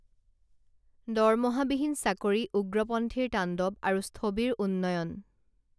দৰমহাবিহীন চাকৰি উগ্ৰপন্থীৰ তাণ্ডৱ আৰু স্থৱিৰ উন্নয়ণ